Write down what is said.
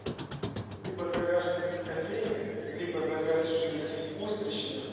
либо загашник кофейных либо загашник устричных